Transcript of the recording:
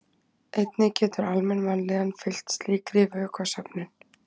einnig getur almenn vanlíðan fylgt slíkri vökvasöfnun